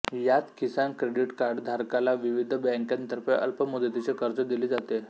यात किसान क्रेडिट कार्डधारकाला विविध बॅंकांतर्फे अल्प मुदतीचे कर्ज दिले जाते